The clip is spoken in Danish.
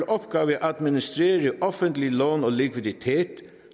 opgave at administrere offentlige lån og likviditet